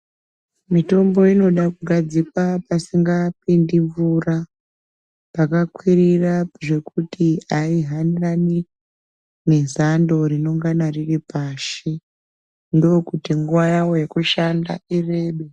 Mitombo inoda kugadzikwa pasingapindi mvura, pakakwirira zvekuti aihanirani nezando rinongana riri pashi. Ndokuti nguwa yawo yekushanda irebe.